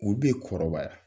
U kɔrɔbaya.